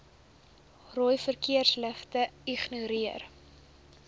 rooi verkeersligte ignoreer